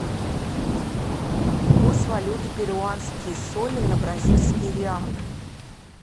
курс валюты перуанские соли на бразильские реалы